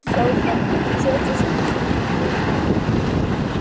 Sjötíu og sex sjá það mjög margir, byrjaði hann.